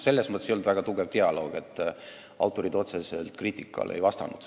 Seal ei olnud väga tugevat dialoogi, sest autorid ei vastanud otseselt kriitikale.